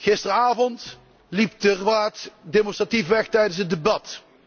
Gisteravond liep de Raad demonstratief weg tijdens het debat.